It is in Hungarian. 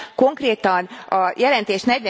Konkrétan a jelentés